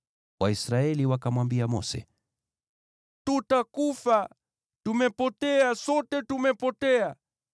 Waisraeli wakamwambia Mose, “Tutakufa! Tumepotea, sote tumepotea!